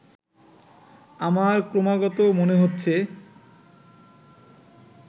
আমার ক্রমাগত মনে হচ্ছে